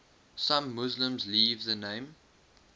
some muslims leave the name